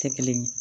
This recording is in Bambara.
Tɛ kelen ye